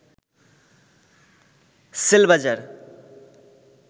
CellBazaar